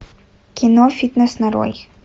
кино фитнес нарой